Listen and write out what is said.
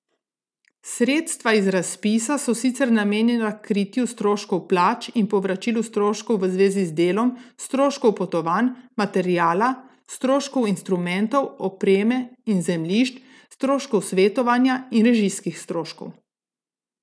Sredstva iz razpisa so sicer namenjena kritju stroškov plač in povračilu stroškov v zvezi z delom, stroškov potovanj, materiala, stroškov instrumentov, opreme in zemljišč, stroškov svetovanja in režijskih stroškov.